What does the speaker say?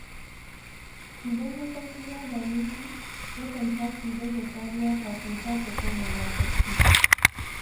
Idan mafarki ya dame shi, yakan tashi don ya sha ruwa kafin sake komawa barci.